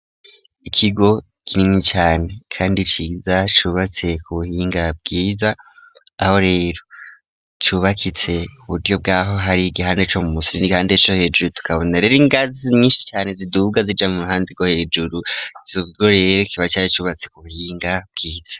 Ikigo kinini cane kandi ciza cubatse ku buhinga bwiza aho rero cubakitse kuburyo bwaho hari igihande co mu musi n'igihande co hejuru tukabona rero ingazi nyishi cane ziduga zija mu ruhande rwo hejuru ico kigo rero kiba cari cubatse ku buhinga bwiza